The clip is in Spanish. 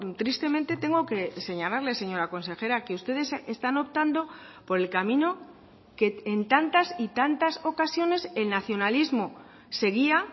tristemente tengo que señalarle señora consejera que ustedes están optando por el camino que en tantas y tantas ocasiones el nacionalismo seguía